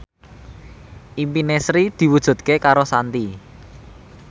impine Sri diwujudke karo Shanti